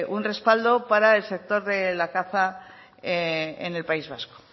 un respaldo para el sector de la caza en el país vasco